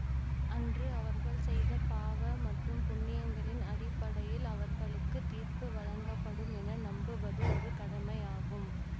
அன்று அவர்கள் செய்த பாவ மற்றும் புண்ணியங்களின் அடிப்படையில் அவர்களுக்கு தீர்ப்பு வழங்கப்படும் என நம்புவது ஒரு கடமையாகும்